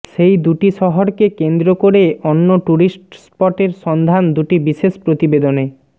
সেই দুটি শহরকে কেন্দ্র করে অন্য ট্যুরিস্ট স্পটের সন্ধান দুটি বিশেষ প্রতিবেদনে